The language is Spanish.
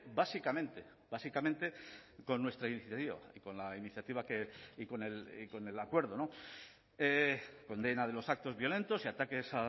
básicamente básicamente con nuestra iniciativa y con la iniciativa y con el acuerdo condena de los actos violentos y ataques